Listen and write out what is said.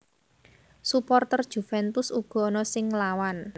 Suporter Juventus uga ana sing nglawan